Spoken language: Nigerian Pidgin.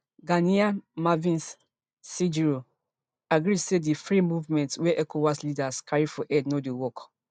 ghanaian marvis sejuro agree say di free movement wey ecowas leaders carry for head no dey work